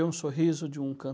sorriso de um